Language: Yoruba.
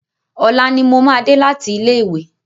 Ọ̀la ni mo máa dé láti ilé ìwé.